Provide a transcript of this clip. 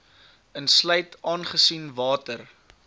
insluit aangesien water